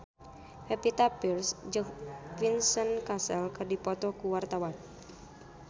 Pevita Pearce jeung Vincent Cassel keur dipoto ku wartawan